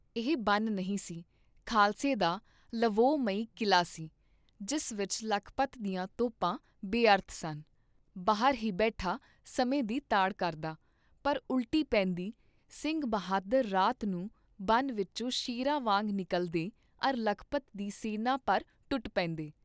ਇਹ ਬਨ ਨਹੀਂ ਸੀ, ਖਾਲਸੇ ਦਾ ਲਵੋਹ ਮਈ ਕੀਲ੍ਹਾ ਸੀ, ਜਿਸ ਵਿਚ ਲਖਪਤ ਦੀਆਂ ਤੋਪਾਂ ਬੇਅਰਥ ਸਨ, ਬਾਹਰ ਹੀ ਬੈਠਾ ਸਮੇਂ ਦੀ ਤਾੜ ਕਰਦਾ, ਪਰ ਉਲਟੀ ਪੇਂਦੀ, ਸਿੰਘ ਬਹਾਦਰ ਰਾਤ ਨੂੰ ਬਨ ਵਿਚੋਂ ਸ਼ੇਰਾਂ ਵਾਂਗ ਨਿਕਲਦੇ ਅਰ ਲਖਪਤ ਦੀ ਸੈਨਾ ਪਰ ਟੁੱਟ ਪੇਂਦੇ ।